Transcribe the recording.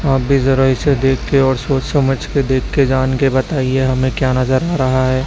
आप भी जरा इसे देख के और सोच समझ के देख के जान के बताइए हमें क्या नजर आ रहा है?